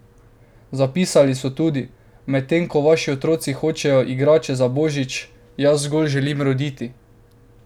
Zapisali so tudi: "Medtem ko vaši otroci hočejo igrače za božič, jaz zgolj želim roditi.